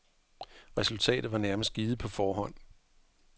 Resultatet var nærmest givet på forhånd.